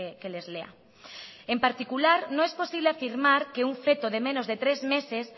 que les lea en particular no es posible afirmar que un feto de menos de tres meses